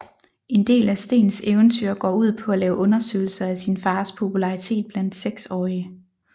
En del af Steens eventyr går ud på at lave undersøgelser af sin fars popularitet blandt seksårige